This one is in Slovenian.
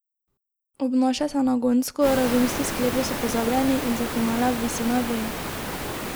Obnaša se nagonsko, razumski sklepi so pozabljeni in za finale obvisi na veji.